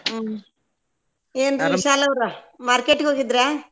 ಹ್ಮ್ ಏನ್ರೀ ವಿಶಾಲ್ ಅವ್ರ market ಗ್ ಹೋಗಿದ್ರಾ?